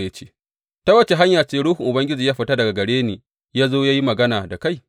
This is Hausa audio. Ya ce, Ta wace hanya ce ruhun Ubangiji ya fita daga gare ni ya zo ya yi magana da kai?